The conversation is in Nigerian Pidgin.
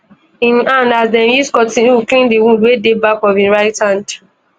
im hand as dem use cotton wool clean di wound wey dey back of im right hand